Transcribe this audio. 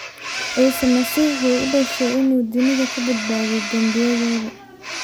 Ciise Masiix wuxuu u dhashay inuu dunida ka badbaadiyo dembiyadooda.